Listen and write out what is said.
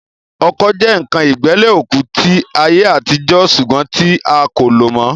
Ọkọ́ jẹ́ ǹkan ìgbẹ́lẹ̀ òkú tí àyè àtijọ́ sùgbọ́n tí a kò lò mọ́